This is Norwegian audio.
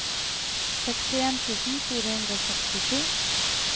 sekstien tusen fire hundre og sekstisju